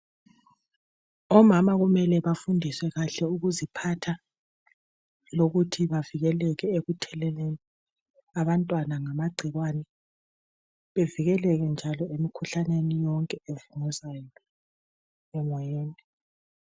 Omama kumele bafundiswe kahle ukuziphatha lokuthi bavikeleke ekutheleleni abantwana ngamagciwane bevikeleke njalo emikhuhlaneni yonke evunguzayo emoyeni